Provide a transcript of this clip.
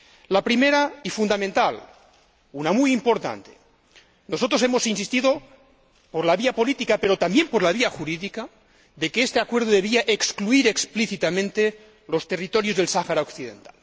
La primera y fundamental nosotros hemos insistido por la vía política, pero también por la vía jurídica, en que este acuerdo debía excluir explícitamente los territorios del Sáhara Occidental.